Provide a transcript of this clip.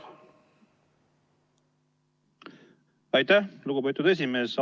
Aitäh, lugupeetud esimees!